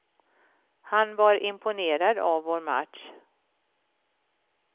Han var imponerad av vår match.